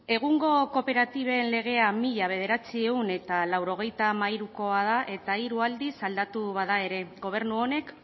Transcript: egungo kooperatiben legea mila bederatziehun eta laurogeita hamairukoa da eta hiru aldiz aldatu bada ere gobernu honek